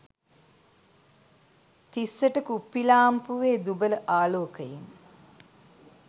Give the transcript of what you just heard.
තිස්සට කුප්පි ලාම්පුවේ දුබල ආලෝකයෙන්